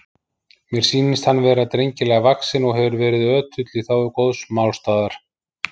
Mér sýnist hann vera drengilega vaxinn og hefur verið ötull í þágu góðs málstaðar.